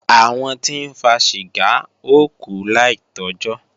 Àwọn tí ń fa ṣìgá ó kú láì tọ́jọ́